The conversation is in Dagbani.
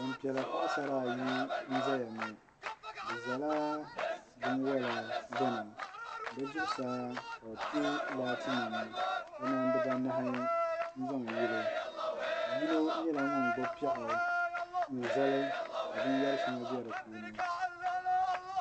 Bulpiiɛla paɣasara ayi n ʒɛya ŋo bi ʒɛla binwola gbuni bi zuɣusaa ka bi pɛ laatinima kamani dibanahi n zaŋ yili yino nyɛla ŋun gbubi piɛɣu n zali ka binyɛri shaŋa bɛ di puuni